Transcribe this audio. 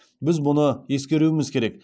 біз бұны ескеруіміз керек